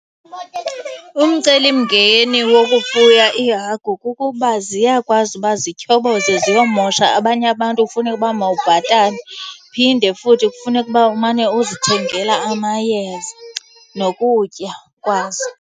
Umcelimngeni wokufuya iihagu kukuba ziyakwazi uba zityhoboze ziyomosha abanye abantu kufuneke uba mawubhatale. Phinde futhi kufuneke uba umane uzithengela amayeza nokutya kwazo.